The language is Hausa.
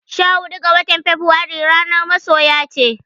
Sha huɗu ga watar feburairu ranar masoya ce.